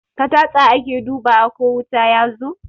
Da tasta ake dubawa ko wuta yazo